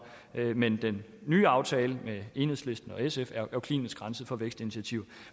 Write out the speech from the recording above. men den nye aftale med enhedslisten og sf er klinisk renset for vækstinitiativer